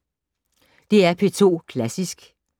DR P2 Klassisk